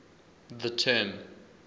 the term